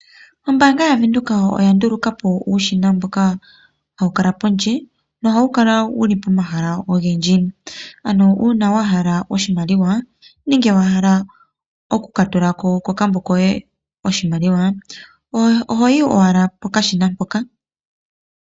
Ombaanga yaVenduka oya ndulukapo uushina mboka hawu kala pondje no hawu kala wuli pomahala ogendji. Ano uuna wahala oshimaliwa nenge wahala oku katulako kokambo koye oshimaliwa ohoyi owala pokashina mpoka.